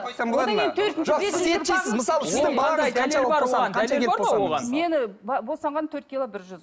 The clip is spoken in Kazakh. мені босанғанда төрт кило бір жүз